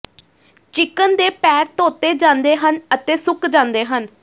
chicken ਦੇ ਪੈਰ ਧੋਤੇ ਜਾਂਦੇ ਹਨ ਅਤੇ ਸੁੱਕ ਜਾਂਦੇ ਹਨ